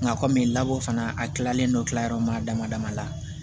Nka kɔmi labɔ fana a kilalen don kilayɔrɔ maa dama dama na